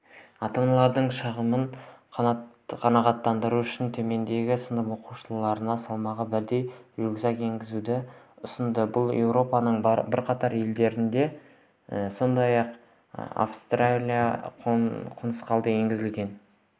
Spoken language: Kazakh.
ата-аналардың шағымын қанағаттандыру үшін төменгі сынып оқушыларына салмағы бірдей рюкзак енгізуді ұсынды бұл еуропаның бірқатар елдерінде сондай-ақ пен австралияда қолданысқа енгізілген